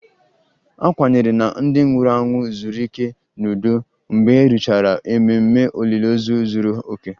A kwenyere na ndị nwụrụ anwụ zuru ike n'udo mgbe a rụchara ememe olili ozu zuru oke